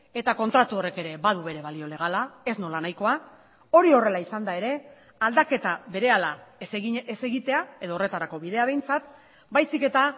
eta kontratu horrek ere badu bere balio legala ez nolanahikoa hori horrela izanda ere aldaketa berehala ez egitea edo horretarako bidea behintzat baizik eta